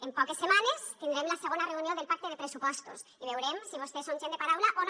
en poques setmanes tindrem la segona reunió del pacte de pressupostos i veurem si vostès són gent de paraula o no